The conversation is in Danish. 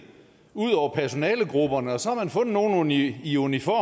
ud over personalegrupperne og så har man fundet nogle i i uniform